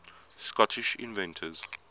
scottish inventors